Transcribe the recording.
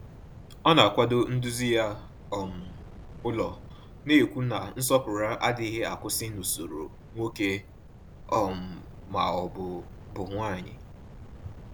Ọ na-akwado nduzi ya um n’ụlọ, na-ekwu na nsọpụrụ adịghị akwụsị n’usoro nwoke um ma ọ bụ bụ nwanyị.